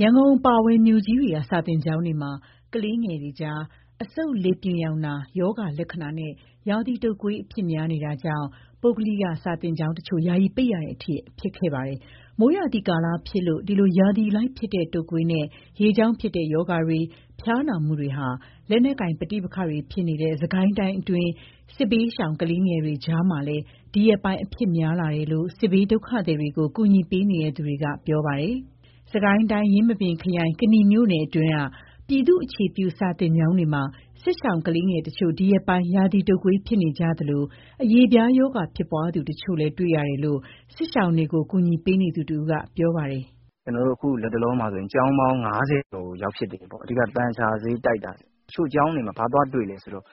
ရန်ကုန်အပါအဝင် မြို့ကြီးတွေက စာသင်ကျောင်းတွေမှာ ကလေးငယ်တွေကြား အဆုတ်လေပြွန်ရောင်နာ ရောဂါ လက္ခဏာနဲ့ ရာသီတုပ်ကွေး အဖြစ်များနေတာကြောင့် ပုဂ္ဂလိက စာသင်ကျောင်းတချို့ ယာယီ ပိတ်ရတဲ့အထိ ဖြစ်ခဲ့ပါတယ်။ မိုးရာသီကာလဖြစ်လို့ ဒီလို ရာသီအလိုက်ဖြစ်တဲ့ တုပ်ကွေးနဲ့ ရေကြောင့်ဖြစ်တဲ့ ရောဂါတွေ၊ ဖျားနာမှုတွေဟာ လက်နက်ကိုင်ပဋိပက္ခတွေ ဖြစ်နေတဲ့ စစ်ကိုင်းတိုင်းအတွင်းက စစ်ဘေးရှောင် ကလေးငယ်တွေကြားမှာလည်း ဒီရက်ပိုင်း အဖြစ်များလာတယ်လို့ စစ်ဘေးဒုက္ခသည်တွေကို ကူညီပေးနေသူတွေက ပြောပါတယ်။ စစ်ကိုင်းတိုင်း၊ ယင်းမာပင်ခရိုင်၊ ကနီမြို့နယ်တွင်းက ပြည်သူ့အခြေပြု စာသင်ကျောင်းတွေမှာ စစ်ရှောင်ကလေးငယ်တချို့ ဒီရက်ပိုင်း ရာသီတုပ်ကွေး ဖြစ်ကြသလို၊ အရေပြားရောဂါ ဖြစ်ပွားသူတချို့လည်း တွေ့ရတယ်လို့ စစ်ရှောင်တွေကို ကူညီပေးနေသူတဦးက ပြောပါတယ်။ "ကျနော်တို့ အခုလတ်တလောမှာ ကျောင်းပေါင်း ၅၀ ကျော်ကို ရောက်ဖြစ်တယ်ပေါ့။ အဓိကတော့ သန်ချဆေးတိုက်တာ။ တချို့ကျောင်းတွေမှာ ဘာသွားတွေ့လဲဆိုတော့